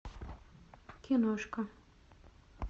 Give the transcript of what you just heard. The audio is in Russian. киношка